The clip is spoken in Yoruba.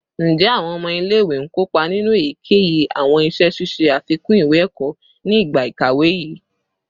Njẹ awọn ọmọ ile-iwe n kopa ninu eyikeyi awọn iṣẹ ṣiṣe afikun iwe-ẹkọ ni igba ikawe yii?